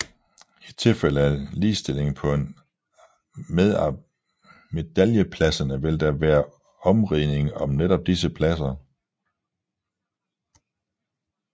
I tilfælde af ligestilling på en af medaljepladserne vil der være omridning om netop disse pladser